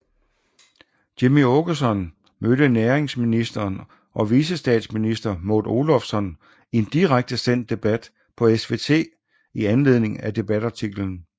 Jimmie Åkesson mødte næringsministeren og vicestatsminister Maud Olofsson i en direkte sendt debat på SVT i anledning af debatartiklen